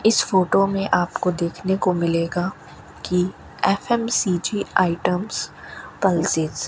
इस फोटो में आपको देखने को मिलेगा की एफ_एम_सी_जी आइटम्स पल्सेस ।